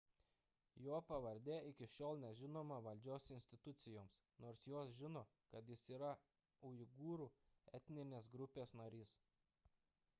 jo pavardė iki šiol nežinoma valdžios institucijoms nors jos žino kad jis yra uigūrų etninės grupės narys